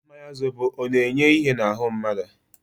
Mmanya zobo ọ na-enye ihe n'ahu mmadu?